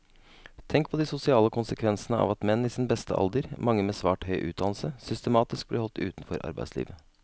Tenk på de sosiale konsekvensene av at menn i sin beste alder, mange med svært høy utdannelse, systematisk blir holdt utenfor arbeidslivet.